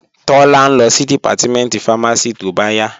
Tọ́lá ń lọ sí Dìpátímẹ̀ntì fámásì tóbáyà